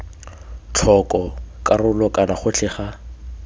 tlhoko karolo kana gotlhe ga